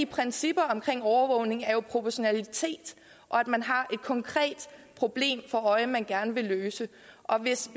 principperne i overvågning er jo proportionalitet og at man har et konkret problem for øje man gerne vil løse og hvis